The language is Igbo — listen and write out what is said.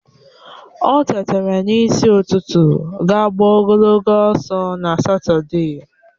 O tetara n'isi ụtụtụ ga gbaa ogologo ọsọ na Satọde